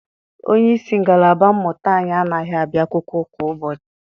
Onyeisi ngalaba mmụta anyi anaghị abịa akwụkwọ kwa ụbọchị.